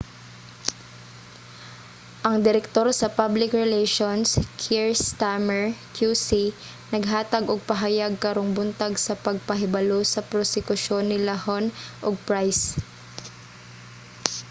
ang direktor sa public relations kier stamer qc naghatag og pahayag karong buntag sa pagpahibalo sa prosekusyon nila huhne ug pryce